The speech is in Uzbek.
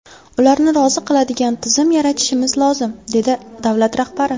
Ularni rozi qiladigan tizim yaratishimiz lozim”, dedi davlat rahbari.